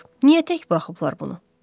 Niyə tək buraxıblar bunu?